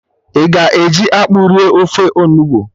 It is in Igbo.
I ga-eji akpụ rie ofe onugbu?